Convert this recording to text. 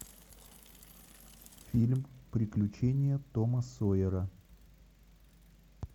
фильм приключения тома сойера